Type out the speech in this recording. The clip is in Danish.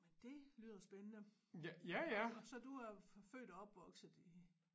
Det lyder spændende så du er født og opvokset i